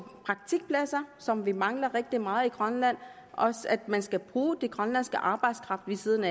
praktikpladser som vi mangler rigtig meget i grønland og at man skal bruge den grønlandske arbejdskraft ved siden